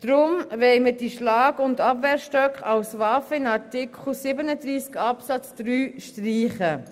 Deshalb wollen wir diese Schlag-und Abwehrstöcke als Waffen in Artikel 37 Absatz 3 streichen.